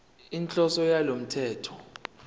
inhloso yalo mthetho